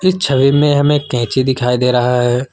इस छवि में हमें कैंची दिखाई दे रहा है।